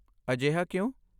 ਅਜਿਹਾ ਕਿਉਂ?